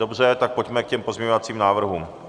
Dobře, tak pojďme k těm pozměňovacím návrhům.